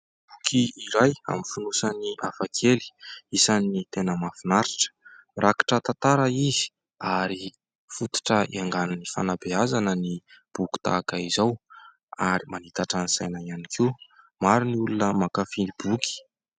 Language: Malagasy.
Boky iray amin'ny fonosany hafakely isan'ny tena mahafinaritra, rakotra tantara izy ary fototra hiaingan'ny fanabeazana ny boky tahaka izao ary manitatra ny saina ihany koa, maro ny olona mankafy ny boky.